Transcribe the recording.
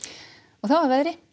þá að veðri